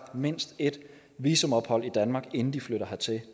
mindst et visumophold i danmark inden de flytter hertil